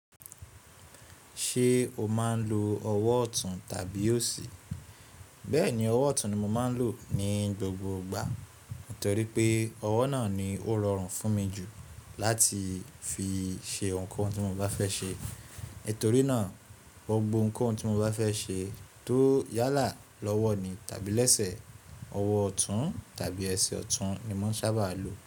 Ṣé o máa ń lo ọwọ́ ọ̀tún tàbí òsì? Bẹ́ẹ̀ni, ọwọ́ ọ̀tún ni mo máa ń lò ní gbogbo ìgbà, nítorí pé ọwọ́ náà ni ó rọrùn fún mi jù láti fi ṣe ohunkóhun tí mo bá fẹ ṣe. Nítorí náà, gbogbo ohunkóhun tí mo bá fẹ́ ṣe tó yálà lọ́wọ́ ni tàbí lẹ́sẹ̀, ọwọ́ ọ̀tún tàbí ẹsẹ̀ ọ̀tún ni mò ń sábà lo.